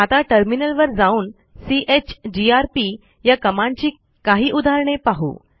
आता टर्मिनलवर जाऊन चीजीआरपी या कमांडची काही उदाहरणे पाहू